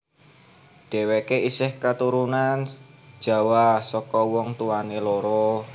Dhéwéké isih katurunan Jawa saka wong tuwané loro